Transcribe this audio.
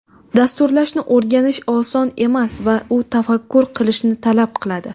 Dasturlashni o‘rganish oson emas va u tafakkur qilishni talab qiladi.